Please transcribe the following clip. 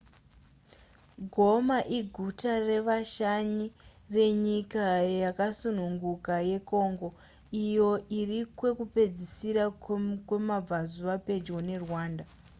goma iguta revashanyi renyika yakasununguka yecongo iyo irikwekupedzisira kwemabvazuva pedyo nerwanda